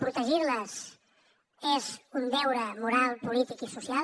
protegir les és un deure moral polític i social